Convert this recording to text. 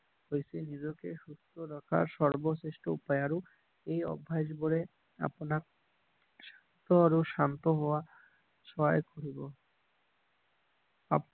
হৈছে নিজকে সুস্থ ৰখা সৰ্বশ্ৰেষ্ঠ উপায় আৰু এই অভ্যাস বোৰে আপোনাক সুস্থ আৰু শান্ত হোৱা সহায় কৰিব